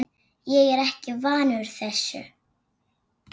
Ég er ekki vanur þessu.